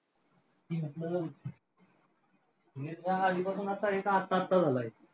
की हे आता आधीपासून असं आहे का आत्ता आत्ता झालंय?